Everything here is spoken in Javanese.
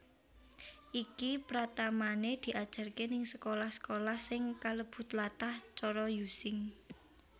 Iki pratamane diajarke ning sekolah sekolah sing kalebu tlatah cara Using